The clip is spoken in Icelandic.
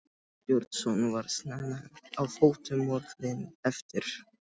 Jón Ásbjarnarson var snemma á fótum morguninn eftir.